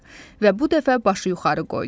Və bu dəfə başı yuxarı qoydu.